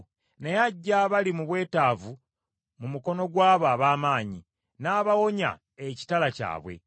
Naye aggya abali mu bwetaavu mu mukono gw’abo ab’amaanyi, n’abawonya ekitala kyabwe.